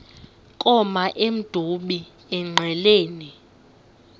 koma emdumbi engqeleni